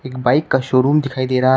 bike का showroom दिखाई दे रहा--